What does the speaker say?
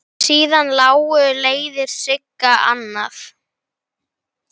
Síðar lágu leiðir Sigga annað.